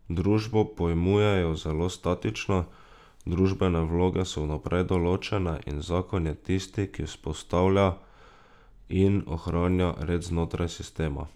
Družbo pojmujejo zelo statično, družbene vloge so vnaprej določene in zakon je tisti, ki vzpostavlja in ohranja red znotraj sistema.